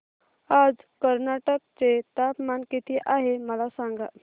आज कर्नाटक चे तापमान किती आहे मला सांगा